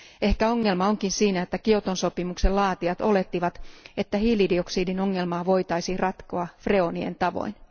Ehkä ongelma onkin siinä, että Kioton sopimuksen laatijat olettivat, että hiilidioksidin ongelmaa voitaisiin ratkoa freonien tavoin.